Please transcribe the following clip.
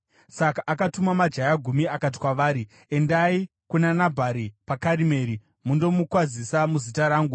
Saka akatuma majaya gumi akati kwavari, “Endai kuna Nabhari paKarimeri mundomukwazisa muzita rangu.